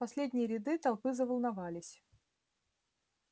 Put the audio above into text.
передние ряды толпы заволновались